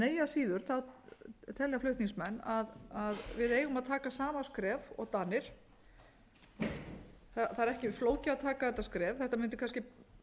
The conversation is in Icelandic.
eigi að síður telja flutningsmenn að við eigum að taka sama skref og danir það er ekki flókið að taka þetta skref þetta mundi kannski